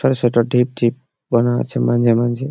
ঢিপ ঢিপ বানা আছে মাঝে মাঝে।